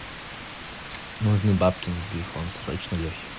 нужны бабки на телефон срочно лехе